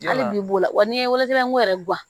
Hali b'o la wa n'i ye wele nko yɛrɛ gan